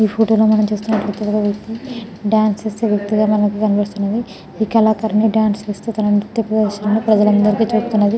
ఈ ఫోటో లో మనము చూస్తునట్టు ఏఇతి డాన్స్ చేసే వ్యక్తిగా మనకు కనిపెస్తునది ఈ కళాకారిణి డాన్స్ వేస్తూ తన నిత్య ప్రదర్శనలు ప్రజలందరికీ చూపుతున్నది .